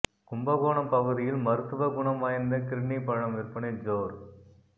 கும்பகோணம் பகுதியில் மருத்துவ குணம் வாய்ந்த கிர்னி பழம் விற்பனை ஜோர்